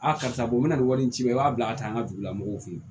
Aa karisa bɔn n na nin wari in ci i b'a bila ka taa an ka dugulamɔgɔw fe yen